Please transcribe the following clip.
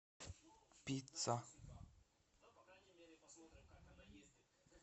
пицца